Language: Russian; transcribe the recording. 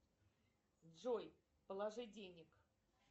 джой положи денег